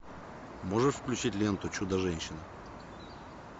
можешь включить ленту чудо женщина